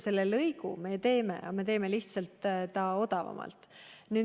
Selle lõigu me teeme, aga me teeme selle lihtsalt odavamalt.